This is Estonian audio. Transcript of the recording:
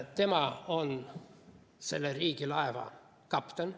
Tema on selle riigilaeva kapten.